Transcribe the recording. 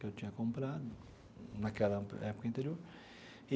Que eu tinha comprado naquela época interior.